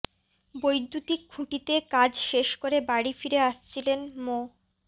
বৈদ্যুতিক খুঁটিতে কাজ শেষ করে বাড়ি ফিরে আসছিলেন মো